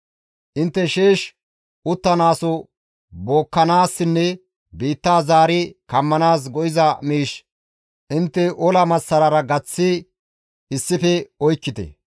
Intte sheesh uttanaaso bookkanaassinne biitta zaari kammanaas go7iza miish intte ola massarara gaththi issife oykkite.